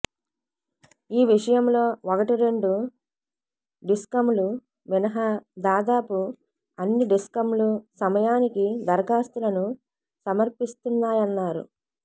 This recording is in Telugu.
ఈ విషయంలో ఒకటిరెండు డిస్కంలు మినహా దాదాపు అన్ని డిస్కంలు సమయానికి దరఖాస్తులను సమర్పిస్తున్నాయన్నారు